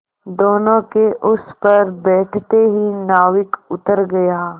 दोेनों के उस पर बैठते ही नाविक उतर गया